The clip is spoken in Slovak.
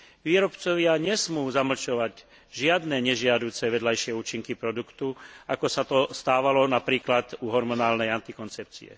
Výrobcovia nesmú zamlčovať žiadne nežiaduce vedľajšie účinky produktu, ako sa to stávalo napríklad pri hormonálnej antikoncepcii.